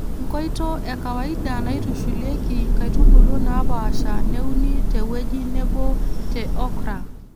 Nkoito e kawaida naaitushulieki nkaitubulu naapaasha neuni te wueji Nebo te Okra.